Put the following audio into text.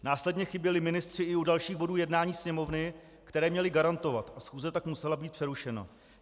Následně chyběli ministři i u dalších bodů jednání Sněmovny, které měli garantovat, a schůze tak musela být přerušena.